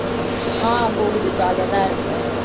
ஆஹ் போகுது jolly ஆதான் இருக்கு